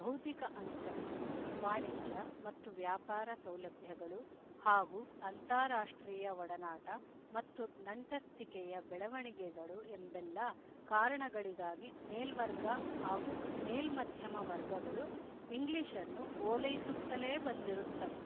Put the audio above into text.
ಬೌದ್ಧಿಕ ಅಂತಸ್ಥು ವಾಣಿಜ್ಯ ಮತ್ತು ವ್ಯಾಪಾರ ಸೌಲಭ್ಯಗಳು ಹಾಗೂ ಅಂತಾರಾಷ್ಟ್ರೀಯ ಒಡನಾಟ ಮತ್ತು ನಂಟಸ್ತಿಕೆಯ ಬೆಳವಣಿಗೆಗಳು ಎಂಬೆಲ್ಲ ಕಾರಣಗಳಿಗಾಗಿ ಮೇಲ್ವರ್ಗ ಹಾಗೂ ಮೇಲ್ಮಧ್ಯಮ ವರ್ಗಗಳು ಇಂಗ್ಲಿಶ್‌ನ್ನು ಓಲೈಸುತ್ತಲೇ ಬಂದಿರುತ್ತವೆ